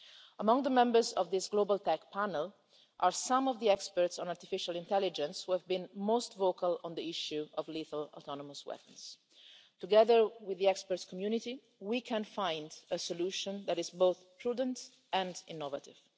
Among the members of this global tech panel are some of the experts on artificial intelligence who have been most vocal on the issue of lethal autonomous weapons. Together with the experts' community, we can find a solution that is both prudent and innovative.